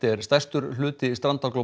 er stærstur hluti